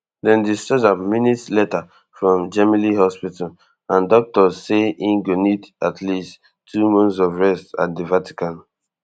dem discharge am minutes later from gemelli hospital and doctors say im go need at least two months of rest at di vatican